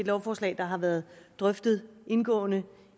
et lovforslag der har været drøftet indgående